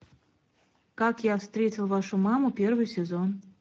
как я встретил вашу маму первый сезон